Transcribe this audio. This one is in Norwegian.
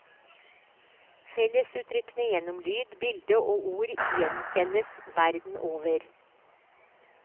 Fellesuttrykkene gjennom lyd, bilde og ord gjenkjennes verden over.